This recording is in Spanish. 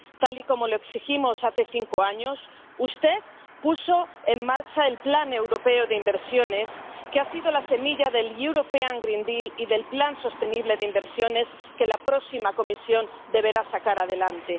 Tal y como lo exigimos hace cinco años, usted puso en marcha el plan europeo de inversiones que ha sido la semilla del European Green Deal y del plan sostenible de inversiones que la próxima Comisión deberá sacar adelante.